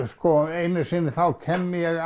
einu sinni þá kem ég